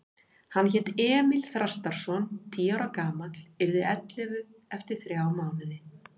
Hann hét Emil Þrastarson, tíu ára gamall, yrði ellefu eftir þrjá mánuði.